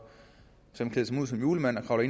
ud som julemand og